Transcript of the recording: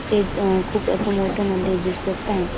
ते अ खूप अस मोठ मंदिर दिसत हाय.